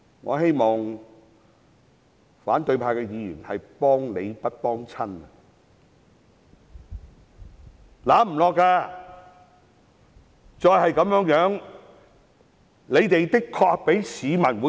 我希望反對派議員今天可以"幫理不幫親"，不應該支持他們。